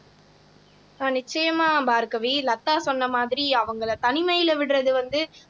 ஆஹ் நிச்சயமா பார்கவி லதா சொன்ன மாதிரி அவங்களை தனிமையில விடுறது வந்து